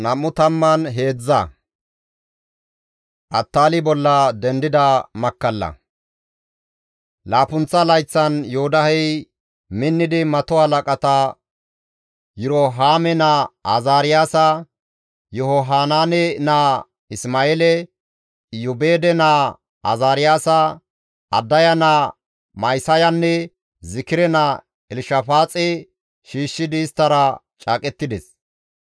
Laappunththa layththan Yoodahey minnidi mato halaqata Yirohaame naa Azaariyaasa, Yihohanaane naa Isma7eele, Iyoobeede naa Azaariyaasa, Addaya naa Ma7isayanne Zikire naa Elshafaaxe shiishshidi isttara caaqettides.